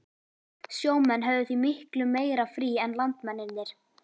Sjó menn höfðu því miklu meira frí en landmennirnir.